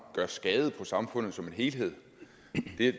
gør skade på samfundet for som helhed